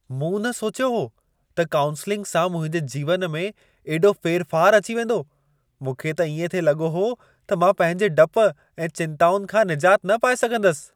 मूं न सोचियो हो त काऊंसेलिंग सां मुंहिंजे जीवन में एॾो फेरफार अची वेंदो। मूंखे त इएं थिए लॻो हो त मां पंहिंजे डप ऐं चिंताउनि खां निजात न पाए सघंदसि।